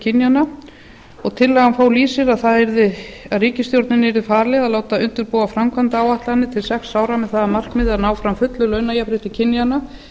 kynjanna tillagan fól í sér að ríkisstjórninni yrði falið að láta undirbúa framkvæmdaáætlanir til sex ára með það að markmiði að ná fram fullu launajafnrétti kynjanna